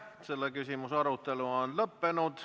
Selle küsimuse arutelu on lõppenud.